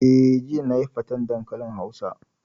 Eh, jiya nayi faten dankalin hausa